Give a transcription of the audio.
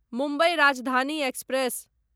Mumbai Rajdhani express